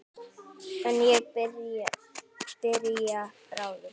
En ég byrja bráðum.